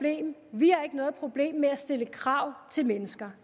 vi har ikke noget problem med at stille krav til mennesker